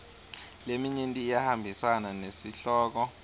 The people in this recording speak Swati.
leminyenti iyahambisana nesihloko